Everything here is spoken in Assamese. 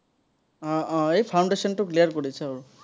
আহ আহ এই foundation টো clear কৰিছো আৰু।